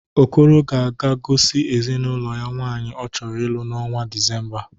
Okoro ga-aga gosi ezinaụlọ ya nwaanyị ọ chọrọ ịlụ n'ọnwa Disemba.